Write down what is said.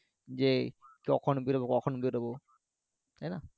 যে কখন বেরোবো কখন বেরোবো তাইনা